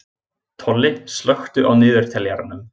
Tolli, slökktu á niðurteljaranum.